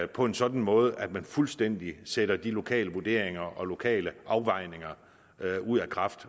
på en sådan måde at man fuldstændig sætter de lokale vurderinger og lokale afvejninger ud af kraft